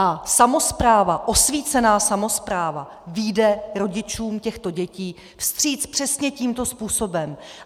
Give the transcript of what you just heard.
A samospráva, osvícená samospráva, vyjde rodičům těchto dětí vstříc přesně tímto způsobem.